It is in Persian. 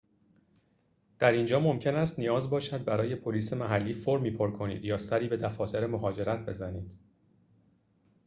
در اینجا ممکن است نیاز باشد برای پلیس محلی فرمی پر کنید یا سری به دفاتر مهاجرت بزنید